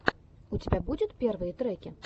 у тебя будет первые треки